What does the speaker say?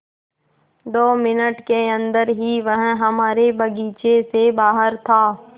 दो मिनट के अन्दर ही वह हमारे बगीचे से बाहर था